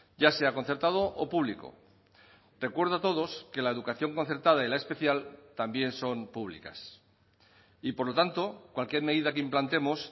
ya sea concertado o público recuerdo a todos que la educación concertada y la especial también son públicas y por lo tanto cualquier medida que implantemos